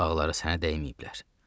Uşaqları sənə dəyməyiblər.